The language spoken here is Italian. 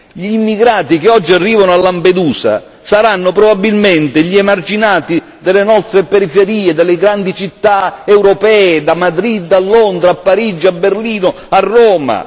Gli immigrati che oggi arrivano a Lampedusa saranno probabilmente gli emarginati delle nostre periferie, delle grandi città europee da Madrid a Londra, a Parigi, a Berlino, a Roma.